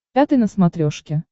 пятый на смотрешке